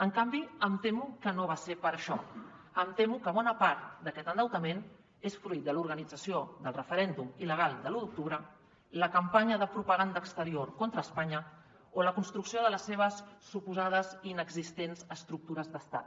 en canvi em temo que no va ser per a això em temo que bona part d’aquest endeutament és fruit de l’organització del referèndum il·legal de l’u d’octubre la campanya de propaganda exterior contra espanya o la construcció de les seves suposades i inexistents estructures d’estat